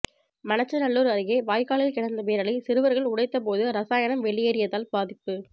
மண்ணச்சநல்லூர் அருகே வாய்க்காலில் கிடந்த பேரலை சிறுவர்கள் உடைத்த போது ரசாயனம் வெளியேறியதால் பாதிப்பு